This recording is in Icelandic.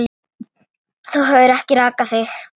Þú hefur ekki rakað þig.